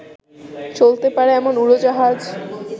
চলতে পারে এমন উড়োজাহাজ